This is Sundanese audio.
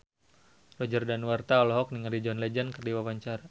Roger Danuarta olohok ningali John Legend keur diwawancara